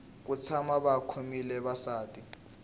ku tshama va khomile vasati